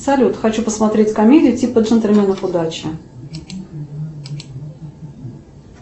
салют хочу посмотреть комедию типа джентльменов удачи